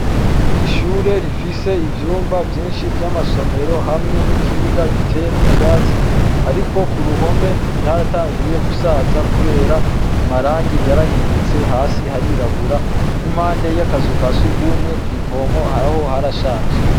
Ishure rifise ivyumba vyinshi vy'amasomero hamwe n'ikibuga giteyemwo ivyatsi ariko ku ruhome ryaratanguye gusaza kubera amarangi yarahindutse, hasi harirabura n'impande y'akazu ka surwumwe kw'ivomo haraho harashaje.